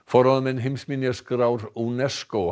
heimsminjaskrá UNESCO